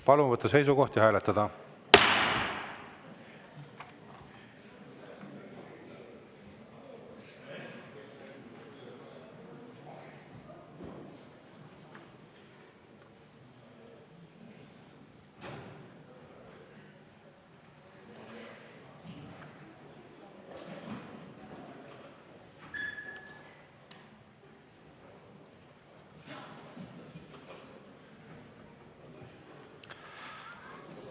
Palun võtta seisukoht ja hääletada!